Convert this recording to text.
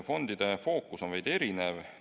Fondide fookus on veidi erinev.